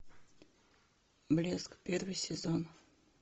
блеск первый сезон